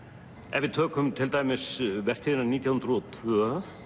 ef við tökum til dæmis vertíðina nítján hundruð og tvö